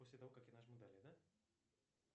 после того какая нажму далее да